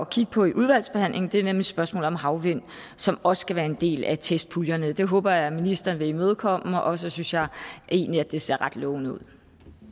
kigge på i udvalgsbehandlingen og det er nemlig spørgsmålet om havvind som også skal være en del af testpuljerne det håber jeg ministeren vil imødekomme og så synes jeg egentlig at det ser ret lovende ud